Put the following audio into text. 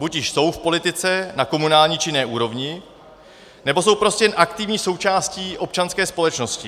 Buď již jsou v politice na komunální či jiné úrovni, nebo jsou prostě jen aktivní součástí občanské společnosti.